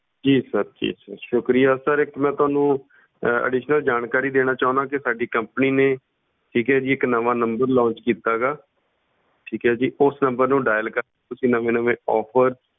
ਜੀ sir ਜੀ sir ਸ਼ੁਕਰੀਆ sir ਇੱਕ ਮੈਂ ਤੁਹਾਨੂੰ additional ਜਾਣਕਾਰੀ ਦੇਣਾ ਚਾਹੁਨਾ ਕਿ ਸਾਡੀ company ਨੇ ਠੀਕ ਹੈ ਜੀ ਇੱਕ ਨਵਾਂ number launch ਕੀਤਾ ਗਾ ਠੀਕ ਹੈ ਜੀ ਉਸ number ਨੂੰ dial ਕਰ ਤੁਸੀਂ ਨਵੇਂ ਨਵੇਂ offer